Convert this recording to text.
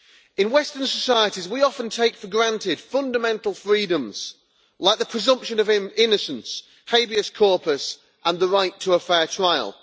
In western societies we often take for granted fundamental freedoms like the presumption of innocence, habeas corpus and the right to a fair trial.